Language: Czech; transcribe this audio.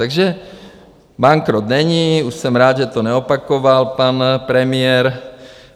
Takže bankrot není, už jsem rád, že to neopakoval pan premiér.